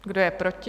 Kdo je proti?